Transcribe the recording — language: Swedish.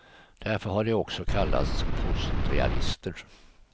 Därför har de också kallats postrealister.